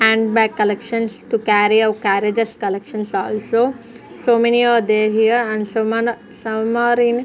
and by collections to carry or carriages collections also so many are there here and some are some are in--